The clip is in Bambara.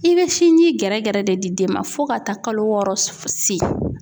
I be sinji gɛrɛgɛrɛ de di den ma fo ka taa kalo wɔɔrɔ se.